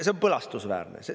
See on põlastusväärne.